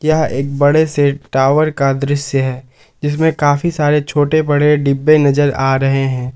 यह एक बड़े से टावर का दृश्य है जिसमें काफी सारे छोटे बड़े डिब्बे नजर आ रहे हैं।